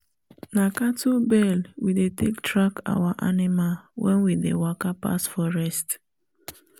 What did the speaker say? na cattle bell we dey take track our animal wen we dey waka pass forest